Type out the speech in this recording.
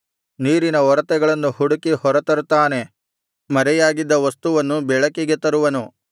ನೀರಿನ ಒರತೆಗಳನ್ನು ಹುಡುಕಿ ಹೊರತರುತ್ತಾನೆ ಮರೆಯಾಗಿದ್ದ ವಸ್ತುವನ್ನು ಬೆಳಕಿಗೆ ತರುವನು